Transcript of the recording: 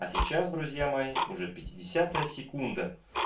а сейчас друзья мои уже пятидесятая секунда